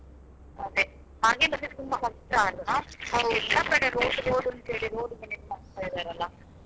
ಅದೆ ಹಾಗೆಲ್ಲ ಇದ್ರೆ ತುಂಬ ಕಷ್ಟ ಅಲ್ಲ. ಕಡೆ road, road ಅಂತೇಳಿ road ಮಾಡ್ತಾ ಇದ್ದಾರಲ.